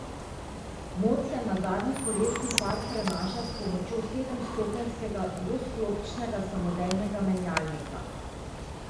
Moč se na zadnji kolesni par prenaša s pomočjo sedemstopenjskega dvosklopčnega samodejnega menjalnika.